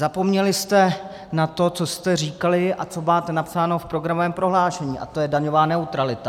Zapomněli jste na to, co jste říkali a co máte napsáno v programovém prohlášení, a to je daňová neutralita.